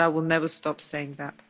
I will never stop saying that.